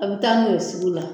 A bɛ taa n'u ye sugu la